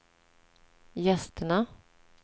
gästerna